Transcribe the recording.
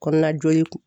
Kɔnɔna joli